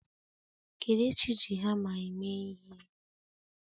Kelechi ji hamma eme ihe.